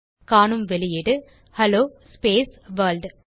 காணும் வெளியீடு hello space world